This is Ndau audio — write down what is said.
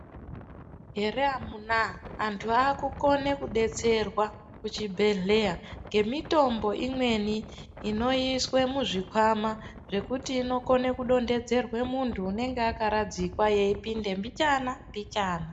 Heree amunaa, anhu akukone kudetserwa muchibhedhlera ngemitombo imweni inoiswe muzvikwama zvekuti inokona kudonhedzerwa munhu unenge akaradzikwa yeipinda mbichana mbichana.